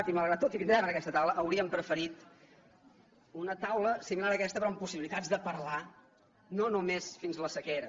i malgrat tot hi vindrem a aquesta taula hauríem preferit una taula similar a aquesta però amb possibilitats de parlar no només fins la sequera